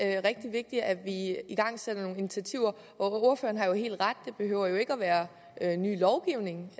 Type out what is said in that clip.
er rigtig vigtigt at vi igangsætter nogle initiativer ordføreren har jo helt ret meget det behøver jo ikke at være en ny lovgivning